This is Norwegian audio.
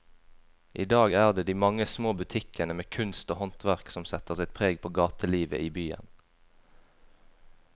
I dag er det de mange små butikkene med kunst og håndverk som setter sitt preg på gatelivet i byen.